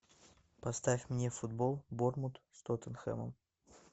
поставь мне футбол борнмут с тоттенхэмом